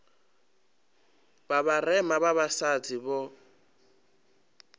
vha vharema vha vhasadzi vho